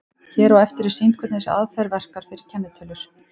Hér á eftir er sýnt hvernig þessi aðferð verkar fyrir kennitölur.